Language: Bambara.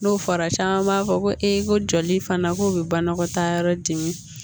N'o fɔra caman b'a fɔ ko e ko joli fana k'o be banakɔtayɔrɔ dimi